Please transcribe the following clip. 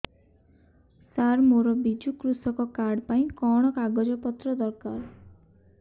ସାର ମୋର ବିଜୁ କୃଷକ କାର୍ଡ ପାଇଁ କଣ କାଗଜ ପତ୍ର ଦରକାର